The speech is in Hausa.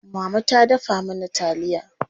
Mama ta dafa mana taliya.